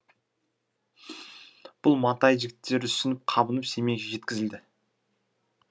бұл матай жігіттері үсініп қабынып семейге жеткізіледі